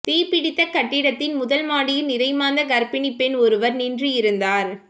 தீப்பிடித்த கட்டிட்த்தின் முதல் மாடியில் நிறைமாத கர்ப்பிணி பெண் ஒருவர் நின்று இருந்தார்